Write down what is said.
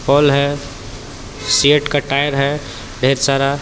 पोल है सीएट का टायर है ढेर सारा.